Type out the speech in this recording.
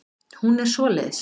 Hún er svoleiðis.